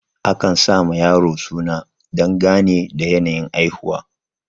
akan sawa yaro suna dangane da yanayin haihuwa